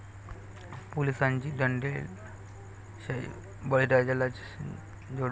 पोलिसांची दंडेलशाही, बळीराजालाच झोडपलं